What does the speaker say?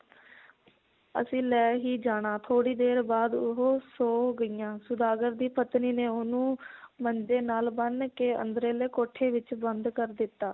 ਅਸੀਂ ਲੈ ਹੀ ਜਾਣਾ ਥੋੜੀ ਦੇਰ ਬਾਅਦ ਉਹ ਸੋਂ ਗਈਆਂ ਸੌਦਾਗਰ ਦੀ ਪਤਨੀ ਨੇ ਉਹਨੂੰ ਮੰਜੇ ਨਾਲ ਬੰਨ ਕੇ ਅੰਦਰਲੇ ਕੋਠੇ ਵਿਚ ਬੰਦ ਕਰ ਦਿੱਤਾ